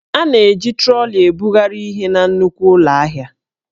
A na-eji troli ebugharị ihe na nnukwu ụlọ ahịa